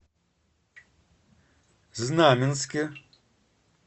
знаменске